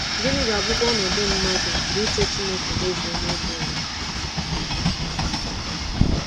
Gịnị ga-abụkwa ọnọdụ mmadụ mgbe uche Chineke mezuo n’elu ụwa?